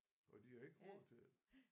Og de har ikke råd til det